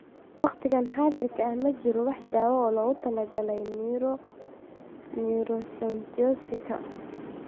Waqtigan xaadirka ah ma jirto wax daawo ah oo loogu talagalay neuroacanthocytosika.